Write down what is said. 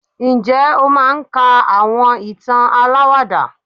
njé o máà ń ka awọn ìtàn àlàwàdà?